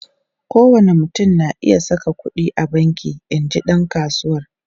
Kowane mutum na iya saka kudi a banki, in ji dan kasuwar.